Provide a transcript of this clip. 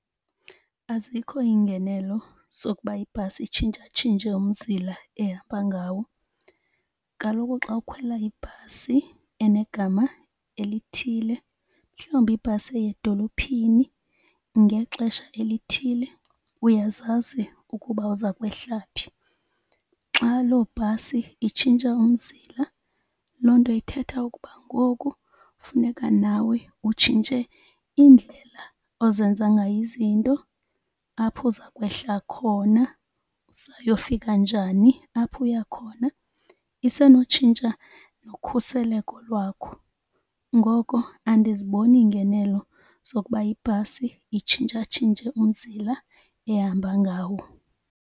Azikho iingenelo zokuba ibhasi itshintshatshintshe umzila ehamba ngawo. Kaloku xa ukhwela ibhasi enegama elithile mhlawumbi ibhasi eya edolophini ngexesha elithile uyazazi ukuba uza kwehla phi. Xa lo bhasi itshintshe umzila loo nto ithetha ukuba ngoku funeka nawe utshintshe indlela ozenza ngayo izinto apho uza kwehla khona uza yofika njani apho uya khona. Isenotshintsha nokhuseleko lwakho. Ngoko andiziboni iingenelo zokuba ibhasi itshintshatshintshe umzila ehamba ngawo.